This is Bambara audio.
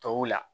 Tɔw la